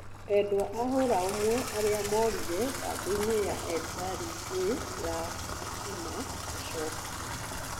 Edwa a hũra ũmwe aria morire kambĩinĩ ya ethari ngũĩ ya Kakuma gũcokio